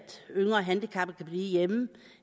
yngre handicappede kan blive hjemme